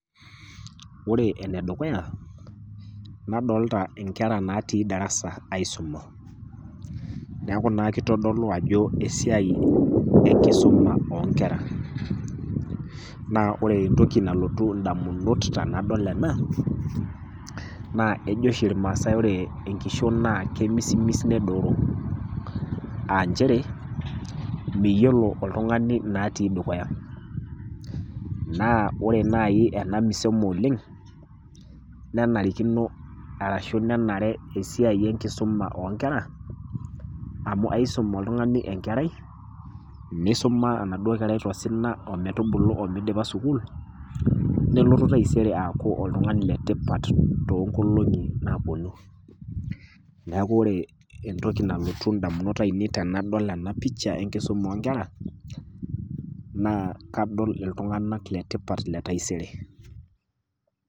Ore ene dukuya , nadolita inkera natii darasa aisuma. Neaku naa keitodolu ajo esiai enkisuma o nkera. Naa ore entoki nalotu indamunot tenadol ena, naa ejo oshi ilmaasai ajo ore enkishon naa kemisimis nedooro ,a nchere, miyiolo oltung'ani inaatii dukuya. Naa ore naaji ena misemo oleng', nenarikino ashu nenare esiai enkisuma o nkera, amu aisom oltung'ani enkerai, neisuma enaduo kerai tosina o metubulu o meidipa sukuul, nelotu taisere aaku oltung'ani le tipat too inkoolong'i napuonu. Neaku ore entoki nalotu indamunot aainei tenadol ena pisha enkisuma o nkera, naa kadol iltung'ana le tipat le taisere.